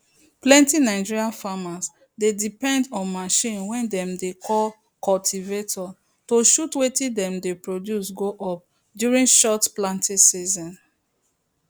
plenty nigeria farmer dey depend onmachine way dem dey call cultivator to shoot wetin dem dey produce go up during short planting season